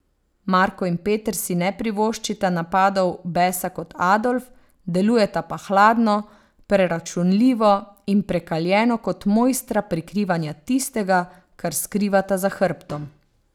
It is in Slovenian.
Marko in Peter si ne privoščita napadov besa kot Adolf, delujeta pa hladno, preračunljivo in prekaljeno kot mojstra prikrivanja tistega, kar skrivata za hrbtom.